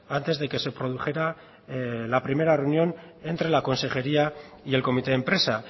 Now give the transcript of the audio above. antes de que se produjera la primera reunión entre la consejería y el comité de empresa